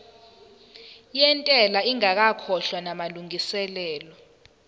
yentela ingakakhokhwa namalungiselo